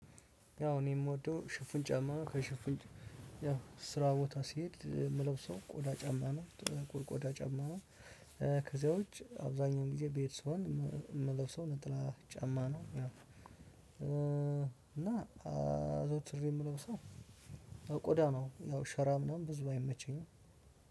ያው እኔ የምወደው ሽፍን ጫማ ከሽፍን ያው ስራ ቦታ ሲሄድ የምለው ሰው ቆዳ ጫማ ነው ጥቁር ቆዳ ጫማ ነው። ከዚያ ውጪ አብዛኛውን ጊዜ ቤት ስሆን የምለውሰው ነጠላ ጫማ ነው ያው። አዘውትሬ የምለውሰው ቆዳ ነው። ያው ሸራ ምናምን ብዙ አይመቸኝም።